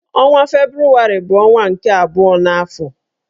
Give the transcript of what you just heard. Ọnwa Febrụwarị bụ ọnwa nke abụọ n'afọ.